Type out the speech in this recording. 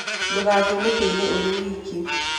Ndũgathiĩ mũtitũ-inĩ ũrĩ wiki.